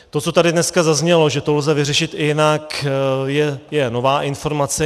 To, co tady dnes zaznělo, že to lze vyřešit i jinak, je nová informace.